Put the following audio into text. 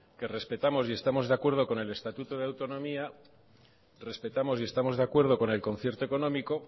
que respetamos y estamos de acuerdo con el estatuto de autonomía que respetamos y estamos de acuerdo con el concierto económico